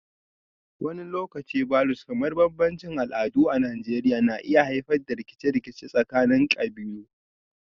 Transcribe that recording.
Wani lokaci Vulues kamar bambancin al'adu a Najeriya na iya haifar da rikice-rikice tsakanin kabilu